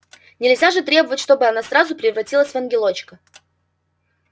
нельзя же требовать чтобы она сразу превратилась в ангелочка